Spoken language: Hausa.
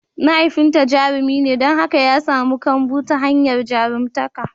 Mahaifinta jarumi ne don haka ya samu kambun sa ta hanyar jarumtaka.